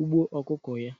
ugbo ọkụkọ ya.